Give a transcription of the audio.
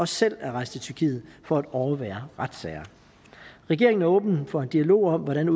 selv er rejst til tyrkiet for at overvære retssager regeringen er åben for en dialog om hvordan